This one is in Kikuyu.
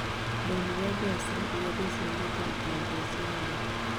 ndonire mbeca iria ndeciragia ta itangiacionire